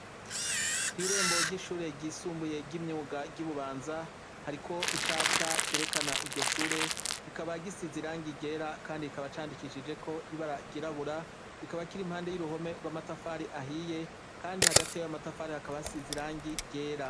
Kwirembo ryishure ryisumbuye ryimyuga ryi bubanza hariko icapwa cerekana iryoshure kikaba gisize irangi ryera kandi kikaba candikishijeko ibara ryirabura kikaba kiri iruhande yuruhome rwamatafari ahiye kandi hagati yamatafari haka hasize irangi ryera